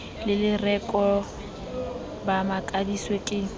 le lereko ba makaditswe ke